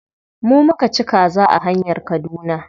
Mu muka ci kaza a hanyar kaduna.